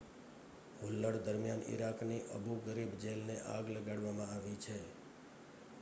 હુલ્લડ દરમિયાન ઇરાકની Abu Ghraib જેલને આગ લગાડવામાં આવી છે